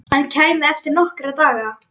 Hann kæmi eftir nokkra daga.